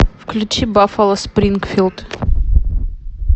включи баффало спрингфилд